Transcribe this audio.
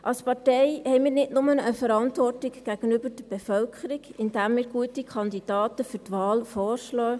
Als Partei haben wir nicht nur eine Verantwortung gegenüber der Bevölkerung, indem wir gute Kandidaten vorschlagen;